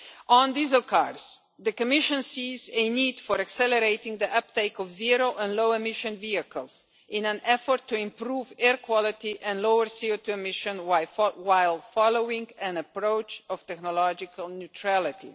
On diesel cars the Commission sees a need for accelerating the uptake of zero and low emission vehicles in an effort to improve air quality and lower CO2 emissions, while following an approach of technological neutrality.